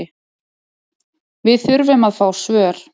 Við þurfum að fá svör